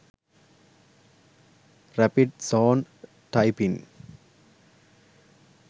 rapid zone typing